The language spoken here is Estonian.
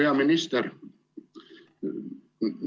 Hea minister!